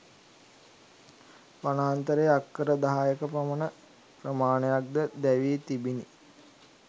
වනාන්තරයේ අක්කර දහයක පමණ ප්‍රමාණයක්ද දැවී තිබිණි.